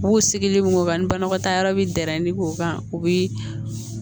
U b'u sigili min kan ni banakɔtaa yɔrɔ bi dɛn ni k'o ban u bi